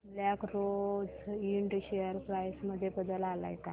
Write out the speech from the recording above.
black Rose Ind share price मध्ये बदल आलाय का